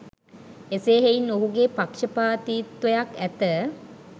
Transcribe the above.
එසේ හෙයින් ඔහුගේ පක්ෂපාතීත්වයක් ඇත